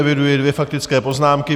Eviduji dvě faktické poznámky.